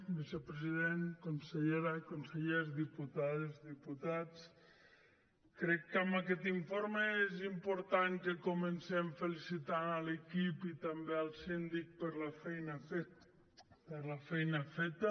vicepresident consellera consellers diputades diputats crec que amb aquest informe és important que comencem felicitant l’equip i també el síndic per la feina feta